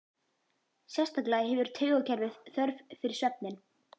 Sérstaklega hefur taugakerfið þörf fyrir svefninn.